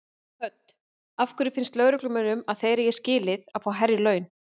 Hödd: Af hverju finnst lögreglumönnum að þeir eigi skilið að fá hærri laun?